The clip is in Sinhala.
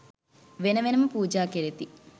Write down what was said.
වෙන වෙනම පූජා කෙරෙති.